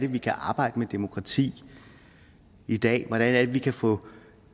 vi kan arbejde med demokrati i dag hvordan det er vi kan få